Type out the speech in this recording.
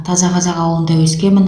таза қазақ ауылында өскенмін